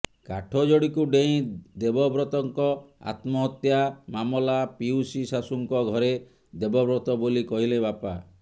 କାଠଯୋଡ଼ିକୁ ଡେଇଁ ଦେବବ୍ରତଙ୍କ ଆତ୍ମହତ୍ୟା ମାମଲା ପିଉସୀ ଶାଶୂଙ୍କ ଘରେ ଦେବବ୍ରତ ବୋଲି କହିଲେ ବାପା